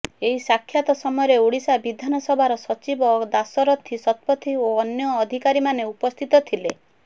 ଏହି ସାକ୍ଷାତ ସମୟରେ ଓଡ଼ିଶା ବିଧାନସଭାର ସଚିବ ଦାଶରଥୀ ଶତପଥୀ ଓ ଅନ୍ୟ ଅଧିକାରୀମାନେ ଉପସ୍ଥିତ ଥିଲେ